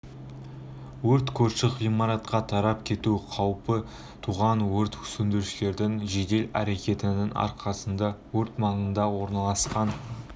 өрт көрші ғимаратқа тарап кету қаупі туған өрт сөндірушілердің жедел әрекетінің арқасында өрт маңында орналасқан